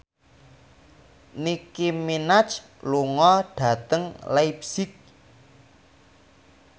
Nicky Minaj lunga dhateng leipzig